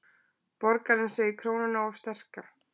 Borgarinn segir krónuna of sterka